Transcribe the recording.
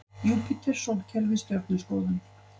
Júpíter Sólkerfið Stjörnuskoðun.